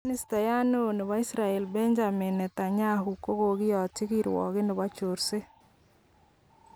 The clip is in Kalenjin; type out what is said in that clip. Ministayat neo nebo Israel Benjamin Netanyahu kogokiyotyi kirwoget nebo chorset